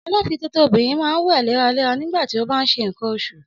Ọlọ́fiǹtótó obìrin ma ńwè léra léra nígbàtí o bá nṣe ńǹkan oṣù